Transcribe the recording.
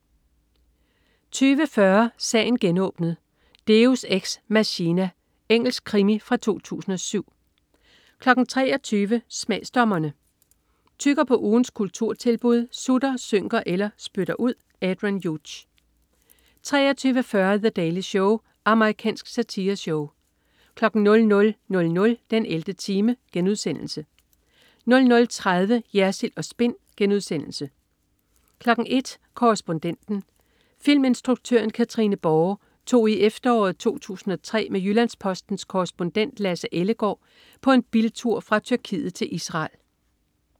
20.40 Sagen genåbnet: Deus ex machina. Engelsk krimi fra 2007 23.00 Smagsdommerne. Tygger på ugens kulturtilbud, sutter, synker eller spytter ud. Adrian Hughes 23.40 The Daily Show. Amerikansk satireshow 00.00 den 11. time* 00.30 Jersild & Spin* 01.00 Korrespondenten. Filminstruktøren Katrine Borre tog i efteråret 2003 med Jyllands-Postens korrespondent Lasse Ellegaard på en biltur fra Tyrkiet til Israel